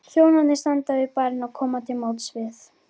Þjónarnir standa við barinn og koma til móts við